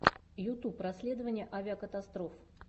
ютуб расследования авикатастроф